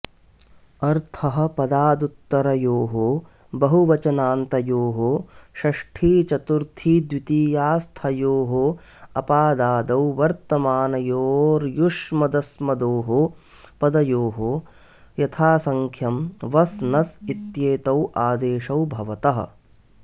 अर्थः पदादुत्तरयोः बहुवचनान्तयोः षष्ठीचतुर्थीद्वितीयास्थयोरपादादौ वर्तमानयोर्युष्मदस्मदोः पदयोर्यथासंख्यं वस् नस् इत्येतावादेशौ भवतः